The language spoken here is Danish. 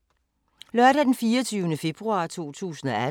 Lørdag d. 24. februar 2018